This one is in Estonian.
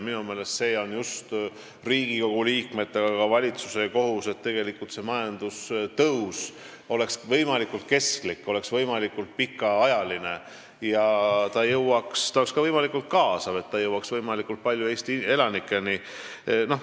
Minu meelest on see just Riigikogu liikmete, aga ka valitsuse kohus, et see majandustõus oleks võimalikult kestlik ja pikaajaline ning ka võimalikult kaasav, et ta jõuaks võimalikult paljude Eesti elanikeni.